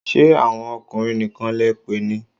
Ṣé àwọn ọkùnrin nìkan lẹ pè ni?